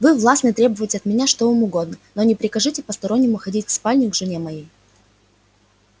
вы властны требовать от меня что вам угодно но не прикажите постороннему входить в спальню к жене моей